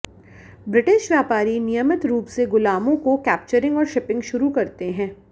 British व्यापारी नियमित रूप से गुलामों को कैप्चरिंग और शिपिंग शुरू करते हैं